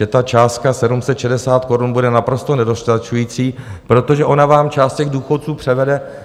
Že ta částka 760 korun bude naprosto nedostačující, protože ona vám část těch důchodců